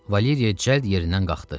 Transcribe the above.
Valeriya cəld yerindən qalxdı.